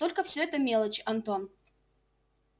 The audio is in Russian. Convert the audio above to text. только всё это мелочи антон